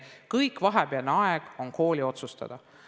Kogu vahepealne aeg on kooli otsustada.